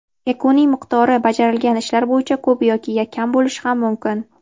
yakuniy miqdori bajarilgan ishlar bo‘yicha ko‘p yoki kam bo‘lishi ham mumkin.